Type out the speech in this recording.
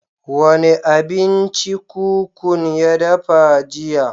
Wa ne abinci kukun ya dafa jiya?